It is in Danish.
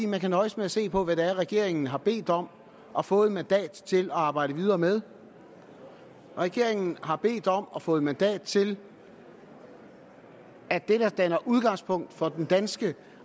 man kan nøjes med at se på hvad regeringen har bedt om og fået mandat til at arbejde videre med regeringen har bedt om og fået mandat til at det der danner udgangspunkt for det danske